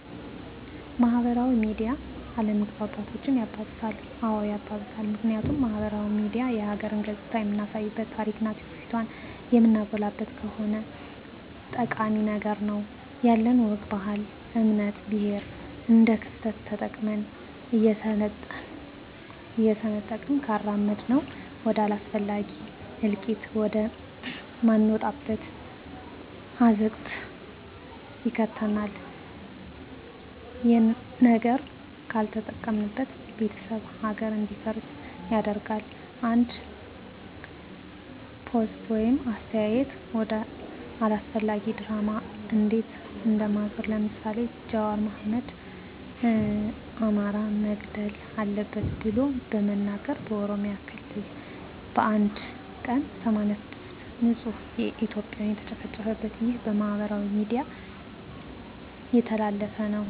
ማህበራዊ ሚዲያ አለመግባባቶችን ያባብሳል? አዎ ያባብሳል ምክንያቱም ማህበራዊ ሚዲያ የሀገርን ገፅታ የምናሳይበት ታሪክና ትውፊቷን የምናጎላበት ከሆነ ጠቃሚ ነው ነገር ግን ያለንን ወግ ባህል እምነት ብሔር እንደክፍተት ተጠቅመን እየሰነጠቅን ካራመድነው ወደ አላስፈላጊ እልቂት ወደ ማንወጣው አዘቅት ይከተናል የለጥሩ ነገር ካልተጠቀምንበት ቤተሰብ ሀገር እንዲፈርስ ያደርጋል አንድ ፖስት ወይም አስተያየት ወደ አላስፈላጊ ድራማ እንዴት እንደዞረ ለምሳሌ ጃዋር አህመድ አማራ መገደል አለበት ብሎ በመናገሩ በኦሮሚያ ክልል በአንድ ቀን 86 ንፁህ እትዮጵያን የተጨፈጨፉበት ይህ በማህበራዊ ሚዲያ የተላለፈ ነው